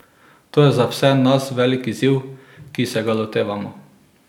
To je za vse nas velik izziv, ki se ga lotevamo.